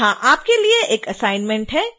यहां आपके लिए एक असाइनमेंट है